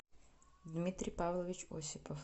дмитрий павлович осипов